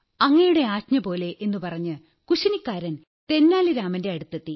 അങ്ങയുടെ ആജ്ഞപോലെ എന്നു പറഞ്ഞ് കുശിനിക്കാരൻ തെന്നാലി രാമന്റെ അടുത്തെത്തി